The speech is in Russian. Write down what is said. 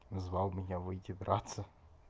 назвал меня выйти драться